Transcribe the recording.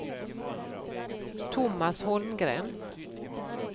Thomas Holmgren